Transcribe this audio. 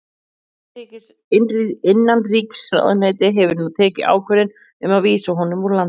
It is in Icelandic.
Innanríkisráðuneytið hefur nú tekið ákvörðun um að vísa honum úr landi.